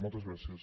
moltes gràcies